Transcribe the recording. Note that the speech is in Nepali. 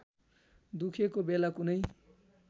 दुखेको बेला कुनै